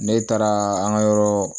Ne taara an ka yɔrɔ